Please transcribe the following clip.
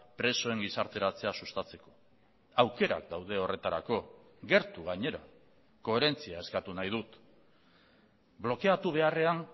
presoen gizarteratzea sustatzeko aukerak daude horretarako gertu gainera koherentzia eskatu nahi dut blokeatu beharrean